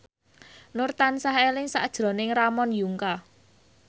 Nur tansah eling sakjroning Ramon Yungka